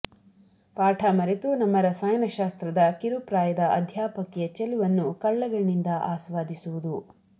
ಪಾಠ ಮರೆತು ನಮ್ಮ ರಸಾಯನಶಾಸ್ತ್ರದ ಕಿರುಪ್ರಾಯದ ಅಧ್ಯಾಪಕಿಯ ಚೆಲುವನ್ನು ಕಳ್ಳಗಣ್ಣಿಂದ ಆಸ್ವಾದಿಸುವುದು